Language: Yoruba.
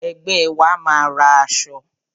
Ẹgbẹ́ wa máa ra aṣọ.